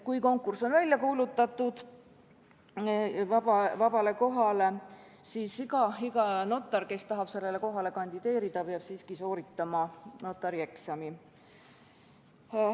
Kui konkurss vabale kohale on välja kuulutatud, siis iga notar, kes tahab sellele kohale kandideerida, peab siiski sooritama notarieksami.